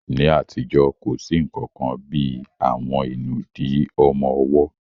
Ní àtijọ́, kò sí nǹkan kan bí í àwọn ìnùdí ọmọ ọwọ́